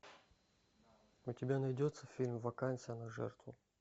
у тебя найдется фильм вакансия на жертву